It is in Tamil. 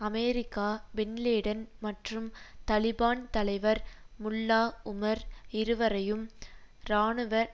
அமெரிக்கா பின்லேடன் மற்றும் தலிபான் தலைவர் முல்லா உமர் இருவரையும் இராணுவ